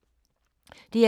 DR2